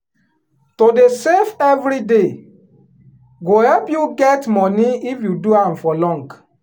to dey save every day go help you get money if you do am for long.